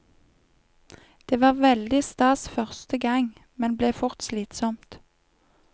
Det var veldig stas første gang, men ble fort slitsomt.